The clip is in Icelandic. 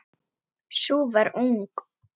Sú var ung!